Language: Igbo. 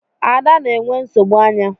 Ada na-enwe nsogbu anya.